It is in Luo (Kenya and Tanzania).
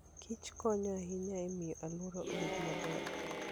Kich konyo ahinya e miyo alwora obed maber.